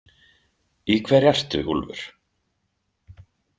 Í hverju ertu, Úlfur?